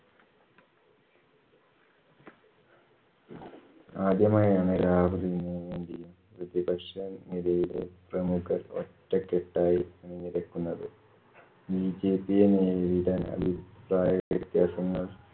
ആദ്യമായാണ് രാഹുലിനുവേണ്ടി പ്രതിപക്ഷ നിരയിലെ പ്രമുഖർ ഒറ്റക്കെട്ടായി അണിനിരക്കുന്നത്. bjp യെ നേരിടാൻ അഭിപ്രായവ്യത്യാസങ്ങൾ